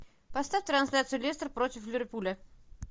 поставь трансляцию лестер против ливерпуля